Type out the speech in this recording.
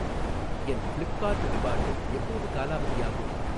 என் Flipkart reward எப்போது காலாவதியாகும்?